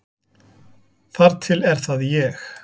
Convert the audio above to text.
Þar til er það ég.